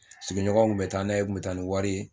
Sigiɲɔgɔnw tun bɛ taa n'a ye u tun bɛ taa ni wari ye